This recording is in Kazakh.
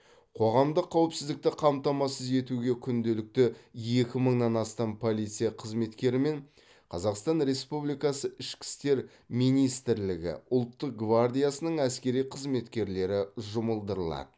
қоғамдық қауіпсіздікті қамтамасыз етуге күнделікті екі мыңнан астам полиция қызметкері мен қазақстан республикасы ішкі істер министрлігі ұлттық гвардиясының әскери қызметкерлері жұмылдырылады